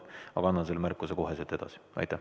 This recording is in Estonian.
Aga annan selle märkuse kohe edasi.